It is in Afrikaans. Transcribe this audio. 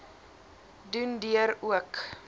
doen deur ook